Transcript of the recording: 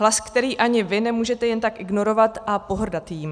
Hlas, který ani vy nemůžete jen tak ignorovat a pohrdat jím.